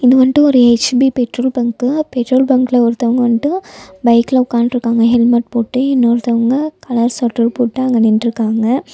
இது வந்ட்டு ஒரு எச்_பி பெட்ரோல் பங்க்கு பெட்ரோல் பங்க்ல ஒருத்தவங்க வந்ட்டு பைக்ல உக்காண்ட்ருக்காங்க ஹெல்மெட் போட்டு இன்னொருத்தவங்க கலர் ஸொட்டர் போட்டு அங்க நின்ட்ருக்காங்க.